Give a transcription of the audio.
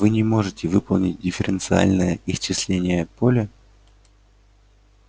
вы не можете выполнить дифференциальное исчисление поля